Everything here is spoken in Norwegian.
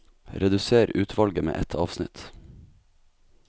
Redusér utvalget med ett avsnitt